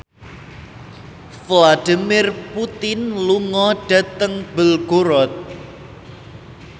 Vladimir Putin lunga dhateng Belgorod